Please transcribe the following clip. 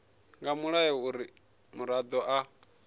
nga mulayo uri muraḓo a